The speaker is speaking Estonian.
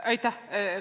Aitäh!